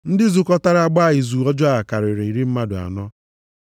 Ndị zukọtara gbaa izu ọjọọ a karịrị iri mmadụ anọ.